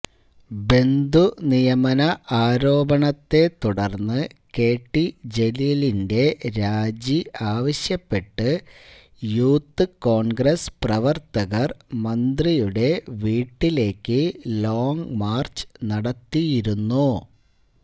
ബന്ധുനിയമന ആരോപണത്തെ തുടര്ന്ന് കെടി ജലീലിന്റെ രാജി ആവശ്യപ്പെട്ട് യൂത്ത് കോണ്ഗ്രസ് പ്രവര്ത്തകര് മന്ത്രിയുടെ വീട്ടിലേക്ക് ലോംങ് മാര്ച്ച് നടത്തിയിരുന്നു